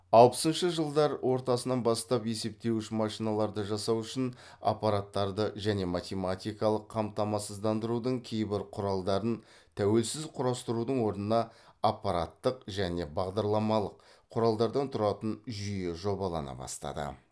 алпысыншы жылдары ортасынан бастап есептеуіш машиналарды жасау үшін аппараттарды және математикалық қамтамасыздандырудың кейбір құралдарын тәуелсіз құрастырудың орнына аппаратты және бағдарламалық құралдардан тұратын жүйе жобалана бастады